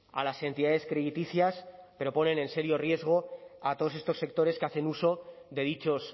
a las entidades crediticias pero ponen en serio riesgo a todos estos sectores que hacen uso de dichos